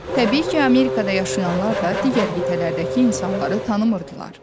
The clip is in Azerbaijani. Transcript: Təbii ki, Amerikada yaşayanlar da digər qitələrdəki insanları tanımırdılar.